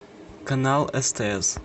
канал стс